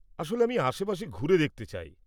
আসলে, আমি আশেপাশে ঘুরে দেখতে চাই।